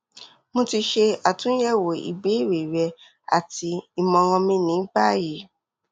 mo ti ṣe atunyẹwo ibeere rẹ ati imọran mi ni bayi